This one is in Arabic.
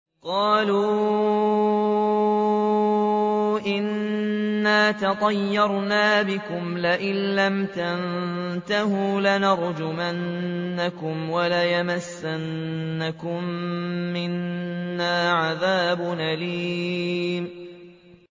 قَالُوا إِنَّا تَطَيَّرْنَا بِكُمْ ۖ لَئِن لَّمْ تَنتَهُوا لَنَرْجُمَنَّكُمْ وَلَيَمَسَّنَّكُم مِّنَّا عَذَابٌ أَلِيمٌ